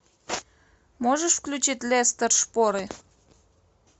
можешь включить лестер шпоры